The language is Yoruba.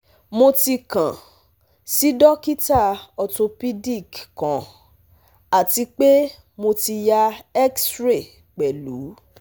Mo ti kan si dokita orthopedic kan ati pe Mo ti ya X-ray pẹlu